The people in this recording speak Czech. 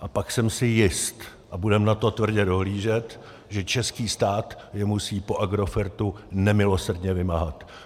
A pak jsem si jist, a budeme na to tvrdě dohlížet, že český stát je musí po Agrofertu nemilosrdně vymáhat.